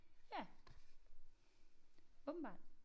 Ja åbenbart